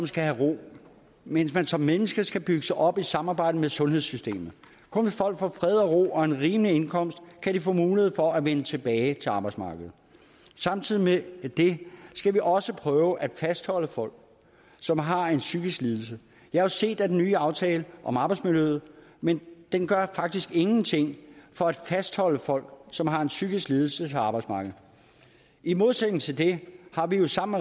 skal have ro mens man som menneske skal bygges op i samarbejde med sundhedssystemet kun hvis folk får fred og ro og en rimelig indkomst kan de få mulighed for at vende tilbage til arbejdsmarkedet samtidig med det skal vi også prøve at fastholde folk som har en psykisk lidelse jeg har set den nye aftale om arbejdsmiljøet men den gør faktisk ingenting for at fastholde folk som har en psykisk lidelse på arbejdsmarkedet i modsætning til det har vi jo sammen